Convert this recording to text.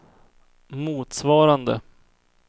motsvarande